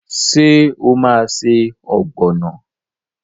Ṣé o máa se ọ̀gbọ̀nà?